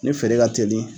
Ni feere ka teli